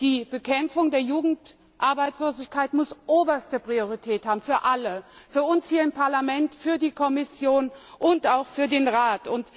Die Bekämpfung der Jugendarbeitslosigkeit muss oberste Priorität haben für alle für uns hier im Parlament, für die Kommission und auch für den Rat.